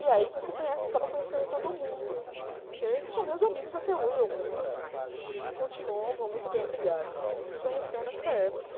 E aí você conhece, acaba conhecendo todo mundo, que são meus amigos até hoje, alguns continuam, vão muito bem, obrigada, que a gente se conheceu nessa época.